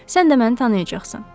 Sən də məni tanıyacaqsan.